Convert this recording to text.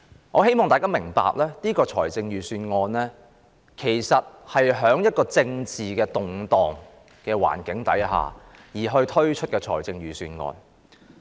我希望大家明白，這份預算案是在政治動盪的環境下推出的。